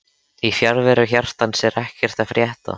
Í fjarveru hjartans er ekkert að frétta